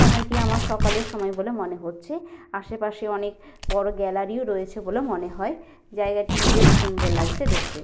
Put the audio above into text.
সময়টি আমার সকালের সময় বলে মনে হচ্ছে আশেপাশে অনেক বড় গ্যালারি ও রয়েছে বলে মনে হয় জায়গাটি বেশ সুন্দর লাগছে দেখতে।